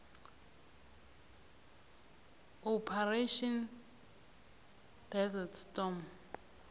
operation desert storm